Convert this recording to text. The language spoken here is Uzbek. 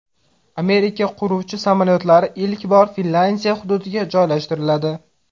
Amerika qiruvchi samolyotlari ilk bor Finlyandiya hududiga joylashtiriladi.